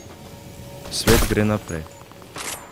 Svet gre naprej!